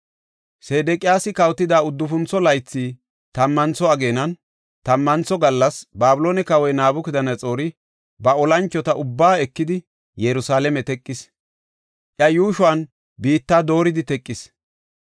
Sedeqiyaasi kawotida uddufuntho laythi, tammantho ageenan, tammantho gallas, Babiloone kawoy Nabukadanaxoori ba olanchota ubbaa ekidi, Yerusalaame teqis; iya yuushuwan biitta dooridi teqis.